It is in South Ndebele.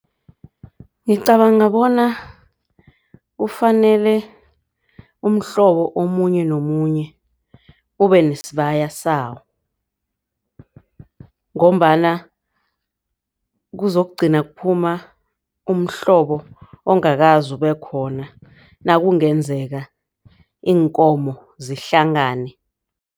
Ngicabanga bona kufanele umhlobo omunye nomunye ube nesibaya sawo. Ngombana kuzokugcina kuphuma umhlobo ongakaze ubekhona nakungenzeka iinkomo zihlangane.